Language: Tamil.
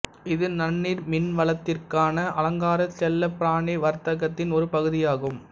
இது நன்னீர் மீன்வளத்திற்கான அலங்கார செல்லப்பிராணி வர்த்தகத்தின் ஒரு பகுதியாகும்